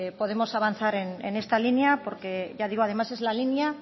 podamos avanzar en esta línea porque ya digo además es la línea